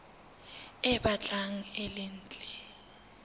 e batlang e le ntle